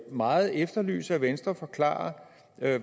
meget efterlyse at venstre forklarer